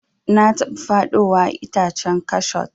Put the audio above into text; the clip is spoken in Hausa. Na taba faɗowa a itacen kashot.